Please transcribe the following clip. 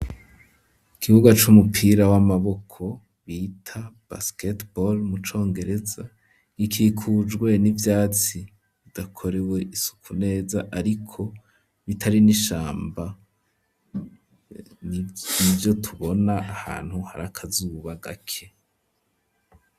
Ikibuga c'umupira w'amaboko bita basiketibore mu congereza, gikikujwe n'ivyatsi bidakorewe isuku neza ariko bitari n'ishamba, nivyo tubona ahantu hari akazuba gake.